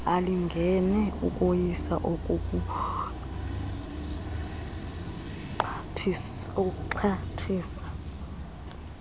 alingene ukoyisa okokuxhathisa